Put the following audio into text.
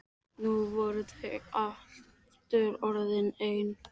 Nú voru þau aftur orðin ein.